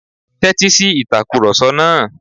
Tẹ́ti si ìtakurọ̀sọ náà.